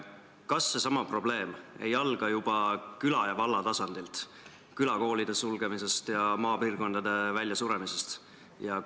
Kas see probleem ei alga juba küla ja valla tasandilt – külakoolide sulgemisest ja maapiirkondade väljasuremisest?